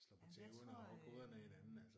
Ja jeg tror øh